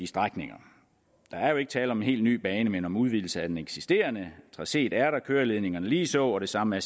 strækningen der er jo ikke tale om en helt ny bane men om en udvidelse af den eksisterende traceet er der køreledningerne ligeså og det samme